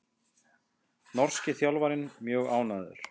Norski þjálfarinn mjög ánægður